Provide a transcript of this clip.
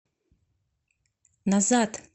назад